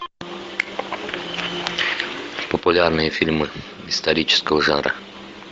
популярные фильмы исторического жанра